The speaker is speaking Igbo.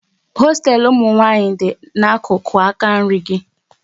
Hosteelu ụmụnwanyị dị n'akụkụ aka nri gị